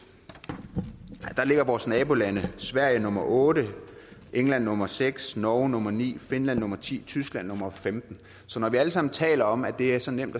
ligger vores naboland sverige nummer otte england nummer seks norge nummer ni finland nummer ti og tyskland nummer femtende så når vi alle sammen taler om at det er så nemt